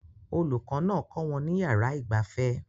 Olùkọ́ náà kọ́ wọn ní yàrá ìgbafẹ́